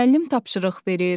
Müəllim tapşırıq verir.